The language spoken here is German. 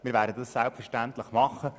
Wir werden das selbstverständlich tun.